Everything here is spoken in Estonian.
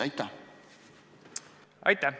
Aitäh!